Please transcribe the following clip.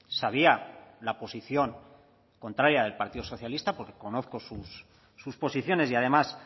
sabía la posición contraria del partido socialista porque conozco sus posiciones y además